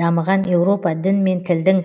дамыған еуропа дін мен тілдің